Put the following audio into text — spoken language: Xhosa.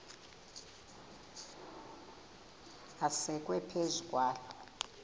asekwe phezu kwaloo